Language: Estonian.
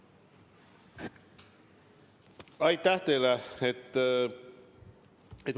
Aitäh teile!